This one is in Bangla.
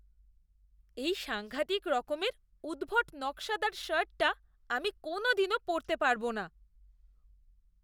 এই সাঙ্ঘাতিক রকমের উদ্ভট নকশাদার শার্টটা আমি কোনওদিনও পরতে পারবো না।